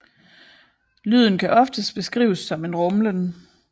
Lyden kan ofte beskrives som en rumlen